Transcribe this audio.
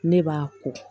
Ne b'a ko